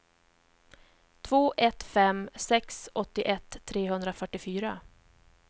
två ett fem sex åttioett trehundrafyrtiofyra